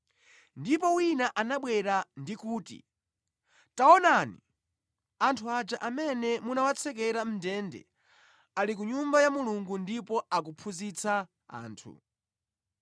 Ndipo wina anabwera ndi kuti, “Taonani! Anthu aja amene munawatsekera mʼndende ali ku Nyumba ya Mulungu ndipo akuphunzitsa anthu.”